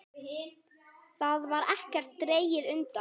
Þar var ekkert dregið undan.